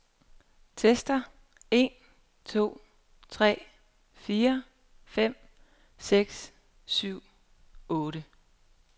Tester en to tre fire fem seks syv otte.